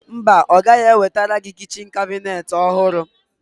Mba, Ọ ga-ewetara gị kabinet kichin ọhụrụ.